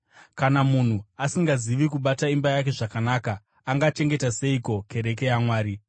(Kana munhu asingazivi kubata imba yake zvakanaka, angachengeta seiko kereke yaMwari?)